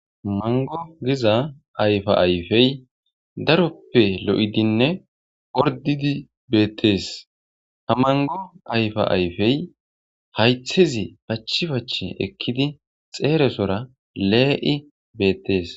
mango giza ayfa ayfey daroppe lo7idinne ordidi beettees ha mango ayfa ayfey haythizi pachi pache ekkidi xeeresora lee7i beettees